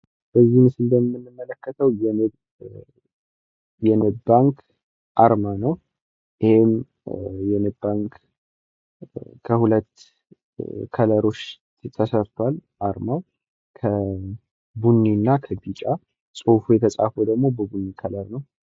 ይህ ምስል የንብ ኢንተርናሽናል ባንክ አርማ ሲሆን ከሁለት ቀለሞች የተሰራ ነው። ቀለሞቹም ቡኒ እና ቢጫ ቀለም ሲሆኑ ጽሁፉ የተጻፈው በቡኒ ቀለም ነው።